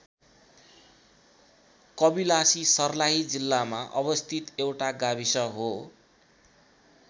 कबिलासी सर्लाही जिल्लामा अवस्थित एउटा गाविस हो।